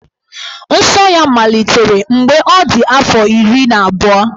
Nsọ ya malitere mgbe ọ dị afọ iri na abụọ.